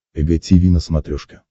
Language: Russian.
эг тиви на смотрешке